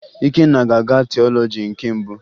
Ikenna ga-agụ tiọlọji nke mbụ